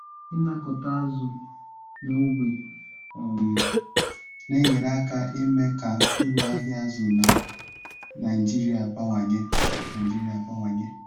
inakọta azụ na ogbe um na enyere aka ime ka uru ahịa azụ na Naijiria bawanye. Naijiria bawanye.